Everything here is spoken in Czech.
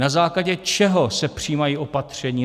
Na základě čeho se přijímají opatření?